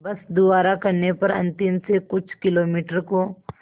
बस द्वारा करने पर अंतिम से कुछ किलोमीटर को